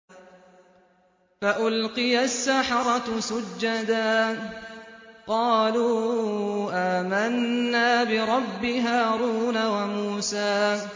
فَأُلْقِيَ السَّحَرَةُ سُجَّدًا قَالُوا آمَنَّا بِرَبِّ هَارُونَ وَمُوسَىٰ